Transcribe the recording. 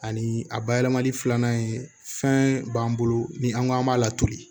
Ani a bayɛlɛmali filanan ye fɛn b'an bolo ni an ko an b'a latulu